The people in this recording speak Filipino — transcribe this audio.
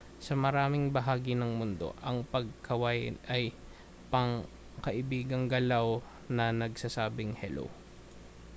sa maraming bahagi ng mundo ang pagkaway ay pangkaibigang galaw na nagsasabing hello